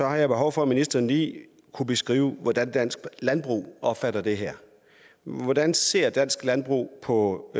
jeg har behov for at ministeren lige beskriver hvordan dansk landbrug opfatter det her hvordan ser dansk landbrug på